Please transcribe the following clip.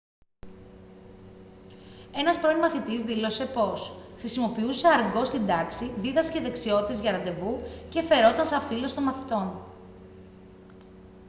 ένας πρώην μαθητής δήλωσε πως «χρησιμοποιούσε αργκό στην τάξη δίδασκε δεξιότητες για ραντεβού και φερόταν σαν φίλος των μαθητών»